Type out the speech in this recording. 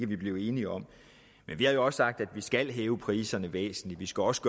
blive enige om men vi har jo også sagt at vi skal hæve priserne væsentligt vi skal også